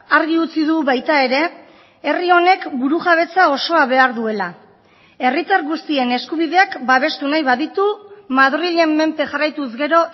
argi utzi du baita ere herri honek burujabetza osoa behar duela herritar guztien eskubideak babestu nahi baditu madrilen menpe jarraituz gero